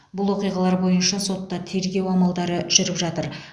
бұл оқиғалар бойынша сотта тергеу амалдары жүріп жатыр